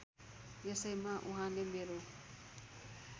यसैमा वहाँले मेरो